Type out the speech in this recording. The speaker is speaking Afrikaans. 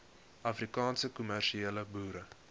afrikaanse kommersiële boere